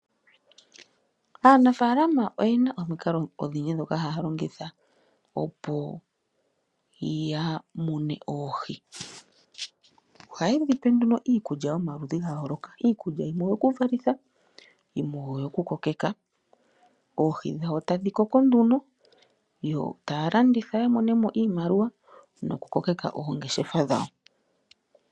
Aanafalama oye na omikalo odhindji ndhoka haa longitha opo yamune oohi. Ohayedhipe nduno iikutya yomaludhi gayooloka, iikulya yimwe oyo kuvalitha, yimwe oyo kukokeka, oohi dhawo etadhi koko nduno yo taalanditha yiimonene mo iimaliwa no ku kokeka oongeshefa dhawo.